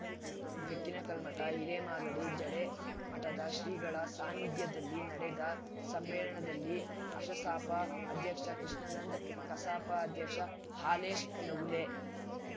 ಬೆಕ್ಕಿನಕಲ್ಮಠ ಹಿರೇಮಾಗಡಿ ಜಡೆ ಮಠದ ಶ್ರೀಗಳ ಸಾನ್ನಿಧ್ಯದಲ್ಲಿ ನಡೆದ ಸಮ್ಮೇಳನದಲ್ಲಿ ಅಶಸಾಪ ಅಧ್ಯಕ್ಷ ಕೃಷ್ಣಾನಂದ್‌ ಕಸಾಪ ಅಧ್ಯಕ್ಷ ಹಾಲೇಶ್‌ ನವುಲೆ